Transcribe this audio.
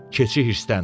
Keçi hirsləndi.